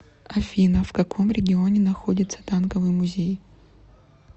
афина в каком регионе находится танковый музей